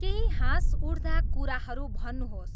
केही हाँसउठ्दा कुराहरू भन्नुहोस्